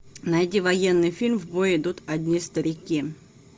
найди военный фильм в бой идут одни старики